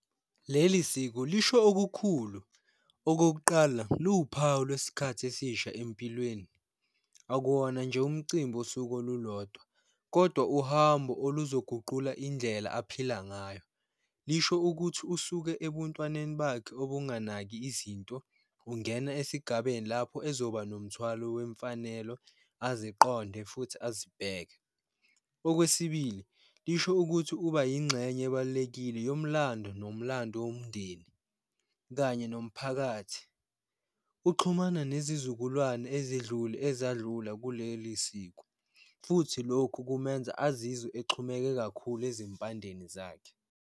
Leli siko lisho okukhulu, okokuqala luwuphawu lwesikhathi esisha empilweni. Akuwona nje umcimbi wosuku olulodwa, kodwa uhambo oluzoguqula indlela aphila ngayo. Lisho ukuthi usuke ebuntwaneni bakhe obunganaki izinto, ungena esigabeni lapho ezoba nomthwalo wemfanelo aziqonde futhi azibheke. Okwesibili, lisho ukuthi uba yingxenye ebalulekile yomlando nomlando womndeni, kanye nomphakathi. Uxhumana nezizukulwane ezedlule ezandlule kuleli siko, futhi lokhu kumenza azizwe exhumeke kakhulu ezimpandeni zakhe.